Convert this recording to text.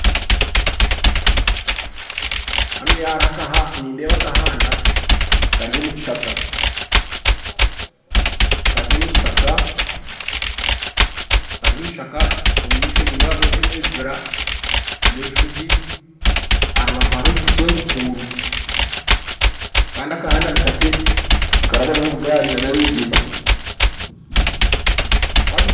Hanuya nindeeba akahanda Kari omukishaka Kari omukishaka omumaisho nindeebamu ebibira nana ebisugye aharubaju hariho ekiti kyenkukuru Kandi akahanda nikakye nikarabamu obugaari nana abebigyere